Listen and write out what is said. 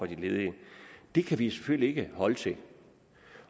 de ledige det kan vi selvfølgelig ikke holde til